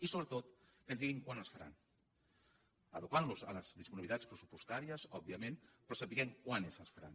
i so·bretot que ens diguin quan es faran adequant·los a les disponibilitats pressupostàries òbviament però sabent quan és que les faran